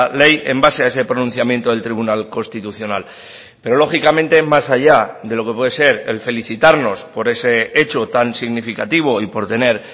ley en base a ese pronunciamiento del tribunal constitucional pero lógicamente más allá de lo que puede ser el felicitarnos por ese hecho tan significativo y por tener